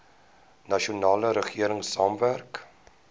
nasionale regering saamwerk